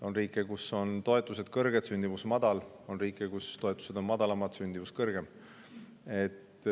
On riike, kus toetused on kõrged, sündimus madal, on riike, kus toetused on madalamad, sündimus kõrgem.